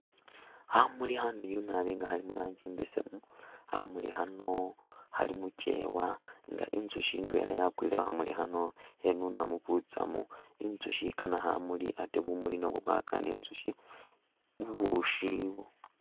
Khamuli khamiliyu nabi nga khali mu rangi imbesemu, khamuli khano khali mu kyeewa nga inzusyi ndwela yakwile khu khamuli khano khenunamu butsamu. Inzusyi ikaana khamuli ate bumuli nabwo bukana inzusyi.